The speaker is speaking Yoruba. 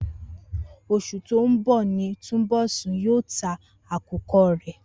Os̩ù tó ń bò̩ ni Túnbò̩sún yóò ta àwo̩n àkùko̩ rè̩